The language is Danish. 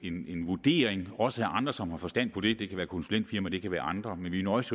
vurdering også fra andre som har forstand på det det kan være konsulentfirmaer det kan være andre men vi nøjes